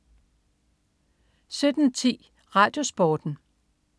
17.10 RadioSporten